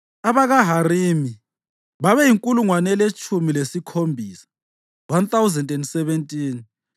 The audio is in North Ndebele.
abakaHarimi babeyinkulungwane eletshumi lasikhombisa (1,017).